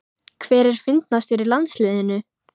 Hver er fyndnastur í landsliðinu?